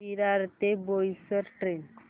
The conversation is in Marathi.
विरार ते बोईसर ट्रेन